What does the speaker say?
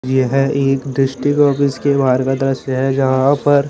ये है एक डिस्ट्रिक्ट ऑफिस के बहार का दृश्य है जहा पर--